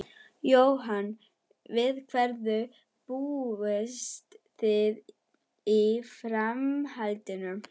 Jóhann: Við hverju búist þið í framhaldinu?